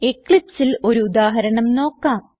Eclipseൽ ഒരു ഉദാഹരണം നോക്കാം